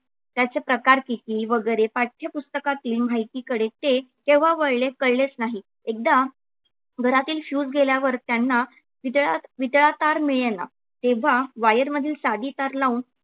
त्याचे प्रकार किती वगैरे पाठ्यपुस्तकातली माहितीकडे ते केव्हा वळले कळलेच नाही. एकदा घरातील fuse गेल्यावर त्यांना वितळा तार मिळेना तेव्हा wire मधील साधी तार लावून